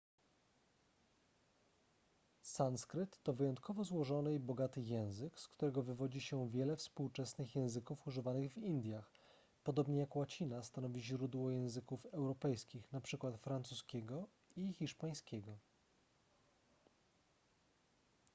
sanskryt to wyjątkowo złożony i bogaty język z którego wywodzi się wiele współczesnych języków używanych w indiach podobnie jak łacina stanowi źródło języków europejskich np francuskiego i hiszpańskiego